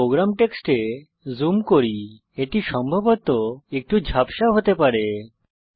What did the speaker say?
আমি প্রোগ্রাম টেক্সটে জুম করি এটি সম্ভবত একটু ঝাপসা হতে পারে